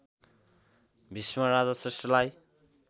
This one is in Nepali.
भिष्मराज श्रेष्ठलाई